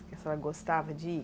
Que a senhora gostava de ir?